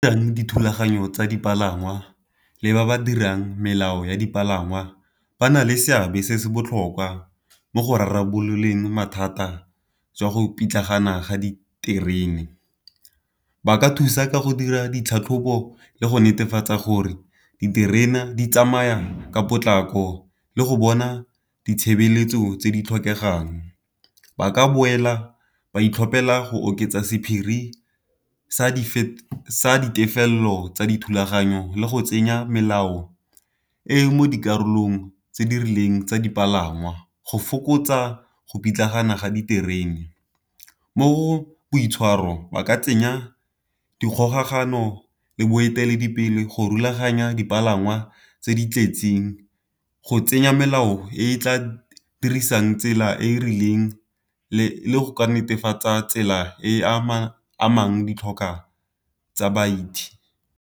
dithulaganyo tsa dipalangwa le ba ba dirang melao ya dipalangwa, ba na le seabe se se botlhokwa mo go rarabololeng mathata jwa go pitlagana ga diterene. Ba ka thusa ka go dira ditlhatlhobo le go netefatsa gore diterena di tsamaya ka potlako le go bona ditshebeletso tse di tlhokegang. Ba ka boela ba itlhopela go oketsa sephiri sa ditefello tsa dithulaganyo le go tsenya melao e mo dikarolong tse di rileng tsa dipalangwa, go fokotsa go pitlagana ga diterene. Mo boitshwaro ba ka tsenya dikgokagano le boeteledipele go rulaganya dipalangwa tse di tletseng, go tsenya melao e tla dirisang tsela e e rileng le go ka netefatsa tsela e e amang ditlhokwa tsa baeti.